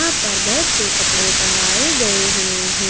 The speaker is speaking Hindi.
यहां पर बहुत से कपड़े टँगाये गए हुए हैं।